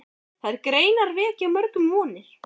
Þær greinar vekja mörgum vonir.